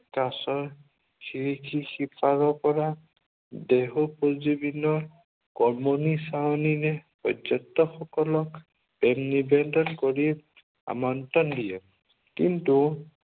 কাঁচৰ খিৰিকিৰ সিপাৰৰ পৰা দেহোপজীৱনী কমনী চাৱনীৰে পৰ্যটক সকলক প্ৰেম নিৱেদন কৰি আমন্ত্ৰণ দিয়ে। কিন্তু